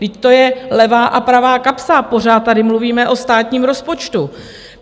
Vždyť to je levá a pravá kapsa, pořád tady mluvíme o státním rozpočtu.